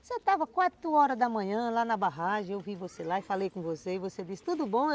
Você estava quatro horas da manhã lá na barragem, eu vi você lá e falei com você, e você disse, tudo bom?